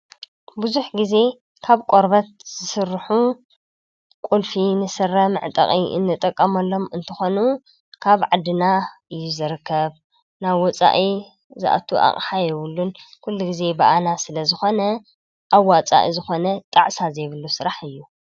ብዙሕ ግዘ ካብ ቆርበት ዝስርሑ ቁልፊ ንስረ መዕጠቂ እንጥቀመሎም እንትኾኑ ካብ ዓድና እዩ ዝርከብ ናብ ወፃኢ ዝኣቱ ኣቅሓ የብሉን ኩሉ ግዘ ብኣና ስለ ዝኾነ ኣዋፃኢ ዝኾነ ጣዕሳ ዘይብሉ ስራሕ እዩ።